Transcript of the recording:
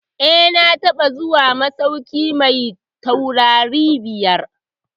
Eh, na taɓa zuwa masauki mai taurari biyar.